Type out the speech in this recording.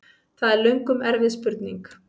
Það er löngum erfið spurning!